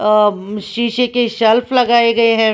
अ शीशे के शेल्फ लगाए गए है।